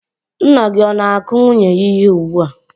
Nna gị o na-akụ nwunye ya ihe ugbu a?